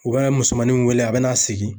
U bɛ musomaninw weele , a bɛna segin.